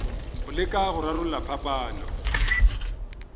go leka go rarolla phapano